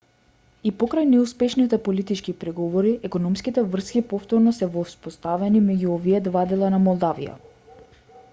и покрај неуспешните политички преговори економските врски повторно се воспоставени меѓу овие два дела на молдавија